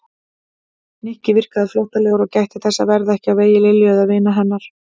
Nikki virkaði flóttalegur og gætti þess að verða ekki á vegi Lilju eða vina hennar.